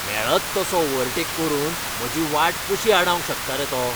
मेळत तसो ओव्हरटेक करून म्हजी वाट कशी आडावंक शकता रे तो?